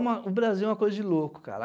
uma. O Brasil é uma coisa de louco, cara.